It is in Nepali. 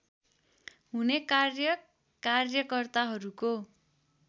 हुने कार्य कार्यकर्ताहरूको